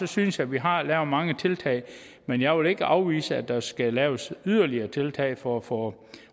synes jeg vi har lavet mange tiltag men jeg vil ikke afvise at der skal laves yderligere tiltag for at få